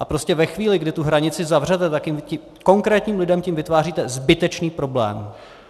A prostě ve chvíli, kdy tu hranici zavřete, tak těm konkrétním lidem tím vytváříte zbytečný problém.